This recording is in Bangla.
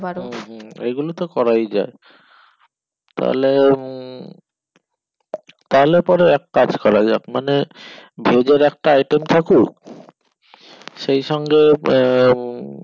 হম হম এগুলো তো করে যাই তালে উম তালে পরে এক কাজ করা যাক মানে veg এর একটা item থাকুক সেই সঙ্গে আহ